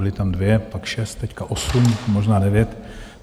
Byly tam dvě, pak šest, teď osm, možná devět.